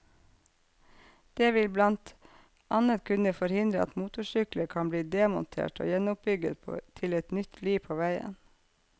Det vil blant annet kunne forhindre at motorsykler kan bli demontert og gjenoppbygget til et nytt liv på veien.